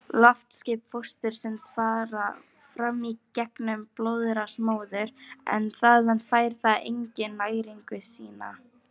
Loftskipti fóstursins fara fram í gegnum blóðrás móður, en þaðan fær það einnig næringu sína.